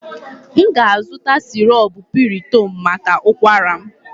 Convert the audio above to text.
M ga-azụta syrup piriton maka ụkwara m